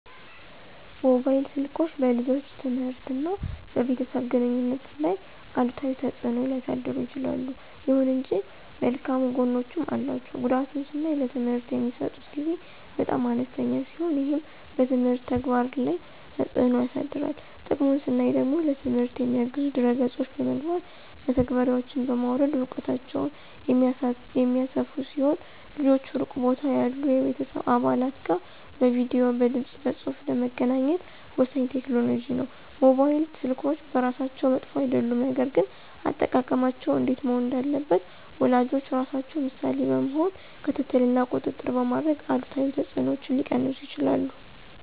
ሞባይል ስልኮች በልጆች ትምህርት እና በቤተሰብ ግንኙነት ላይ አሉታዊ ተጽዕኖ ሊያሳድሩ ይችላሉ። ይሁን እንጂ መልካም ጎኖችም አሏቸው። ጉዳቱን ስናይ ለትምህርት የሚሰጡት ጊዜ በጣም አነስተኛ ሲሆን ይህም በትምህርት ተግባር ላይ ተጽዕኖ ያሳድራል። ጥቅሙን ስናይ ደግሞ ለትምህርት የሚያግዙ ድህረ ገጾች በመግባት (መተግበሪያዎችን) በማውረድ እውቀታቸውን የሚያሰፉ ሲሆን ልጆች ሩቅ ቦታ ያሉ የቤተሰብ አባላት ጋር በቪዲዬ፣ በድምፅ በፁሁፍ ለመገናኘት ወሳኝ ቴክኖሎጂ ነው። ሞባይል ስልኮች በራሳቸው መጥፎ አይደሉም፣ ነገር ግን አጠቃቀማቸው እንዴት መሆን እንዳለበት ወላጆች ራሳቸው ምሳሌ በመሆን ክትትል እና ቁጥጥር በማድረግ አሉታዊ ተጽዕኖዎችን ሊቀንሱ ይችላሉ።